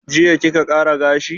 Jiya kika ƙara gashi?